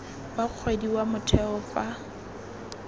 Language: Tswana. wa kgwedi wa motheo fa